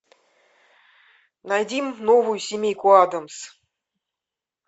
найди новую семейку адамс